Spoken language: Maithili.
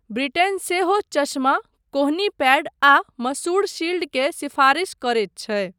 ब्रिटेन सेहो चश्मा, कोहनी पैड आ मसूढ़ शील्ड के सिफारिश करैत छै।